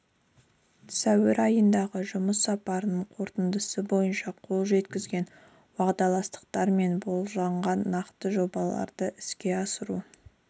сәуір айындағы жұмыс сапарының қорытындысы бойынша қол жеткізілген уағдаластықтар мен болжанған нақты жобаларды іске асыру